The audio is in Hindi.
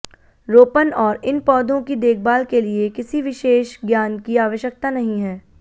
रोपण और इन पौधों की देखभाल के लिए किसी विशेष ज्ञान की आवश्यकता नहीं है